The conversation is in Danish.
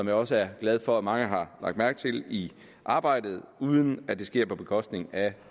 jeg også er glad for at mange har lagt mærke til i arbejdet uden at det sker på bekostning af